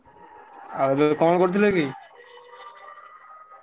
ଆଉ ତମେ କଣ କରୁଥିଲ କି?